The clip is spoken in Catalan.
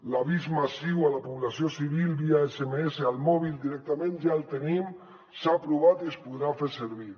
l’avís massiu a la població civil via sms al mòbil directament ja el tenim s’ha provat i es podrà fer servir